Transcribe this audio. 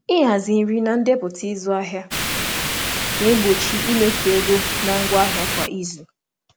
Ịhazi nri na ndepụta ịzụ ahịa na-egbochi imefu oke na ngwa nri kwa izu.